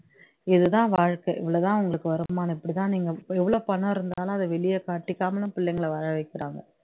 இது தான் வாழ்க்கை இவ்ளோ தான் உங்களுக்கு வருமானம் இப்படி தான் நீங்க எவ்ளோ பணம் இருந்தாலும் அதை வெளிய காட்டிக்காம பிள்ளைங்கள வாழ வைக்கிறாங்க